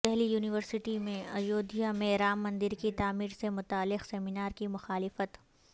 Delhi university میں اجودھیا میں رام مندرکی تعمیر سے متعلق سیمینار کی مخالفت